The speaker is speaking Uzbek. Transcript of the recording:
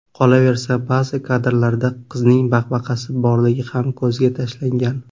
Qolaversa, ba’zi kadrlarda qizning baqbaqasi borligi ham ko‘zga tashlangan.